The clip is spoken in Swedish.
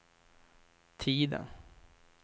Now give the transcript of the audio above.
tiden